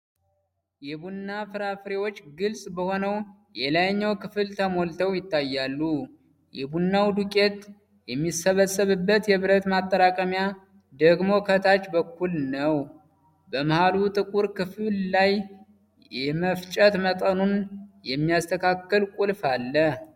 የቡና ፍሬዎች ግልጽ በሆነው የላይኛው ክፍል ተሞልተው ይታያሉ፤ የቡናው ዱቄት የሚሰበሰብበት የብረት ማጠራቀሚያ ደግሞ ከታች በኩል ነው። በመሃሉ ጥቁር ክፍል ላይ የመፍጨት መጠኑን የሚያስተካክል ቁልፍ አለ።